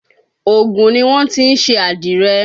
Ògùn ni wọ́n ti ń ṣe àdìrẹ